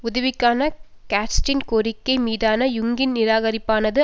உதவிக்கான கேட்ஸின் கோரிக்கை மீதான யுங்கின் நிராகரிப்பானது